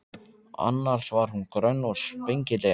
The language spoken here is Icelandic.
Annars var hún grönn og spengileg.